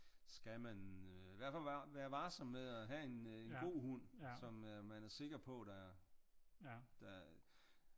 Skal man i hvert fald være varsom med at have en god hund som man er sikker på der er